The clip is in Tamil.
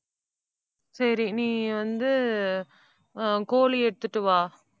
சரி, நீ வந்து அஹ் கோழி எடுத்துட்டு வா.